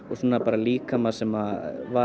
líkama sem var